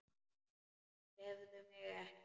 Tefðu mig ekki.